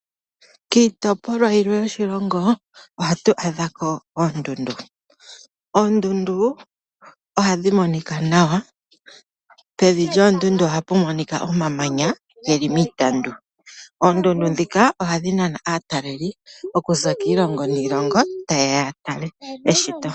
Kiitopolwa yilwe yoshilongo ohatu adhako oondundu. Oondundu ohadhi monika nawa, pevi lyoondundu ohapu monika omamanya geli miitandu. Oondundu dhika ohadhi nana aataleli okuza kiilongo niilongo tayeya ya tale eshito.